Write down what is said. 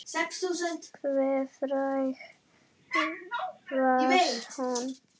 Hve fræg var hún?